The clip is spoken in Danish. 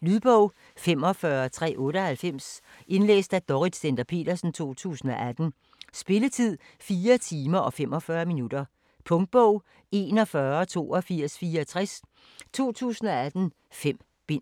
Lydbog 45398 Indlæst af Dorrit Stender-Petersen, 2018. Spilletid: 4 timer, 45 minutter. Punktbog 418264 2018. 5 bind.